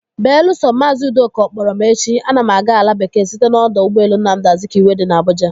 Belusọ, maazị Udoka ọ kpọrọ m echi, ana m aga ala bekee site n'ọdọ ụgbọelu Nnamdi Azikiwe dị n'Abuja.